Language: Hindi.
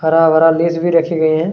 हरा-भरा लेस भी रखे गए है।